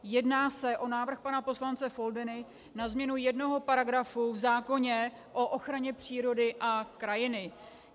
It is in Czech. Jedná se o návrh pana poslance Foldyny na změnu jednoho paragrafu v zákoně o ochraně přírody a krajiny.